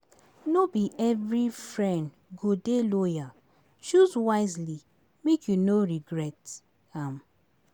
No be every friend go dey loyal, choose wisely make you no regret am.